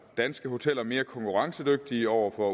danske hoteller mere konkurrencedygtige over for